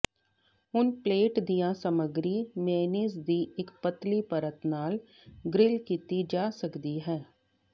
ਹੁਣ ਪਲੇਟ ਦੀਆਂ ਸਮੱਗਰੀ ਮੇਅਨੀਜ਼ ਦੀ ਇੱਕ ਪਤਲੀ ਪਰਤ ਨਾਲ ਗ੍ਰਿੱਲ ਕੀਤੀ ਜਾ ਸਕਦੀ ਹੈ